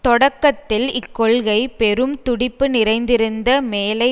தொடக்கத்தில் இக்கொள்கை பெரும் துடிப்பு நிறைந்திருந்த மேலை